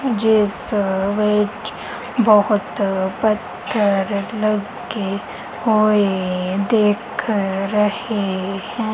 ਜਿੱਸ ਵਿੱਚ ਬਹੁਤ ਪੱਥਰ ਲੱਗੇ ਹੋਏ ਦਿੱਖ ਰਹੇ ਹੈਂ।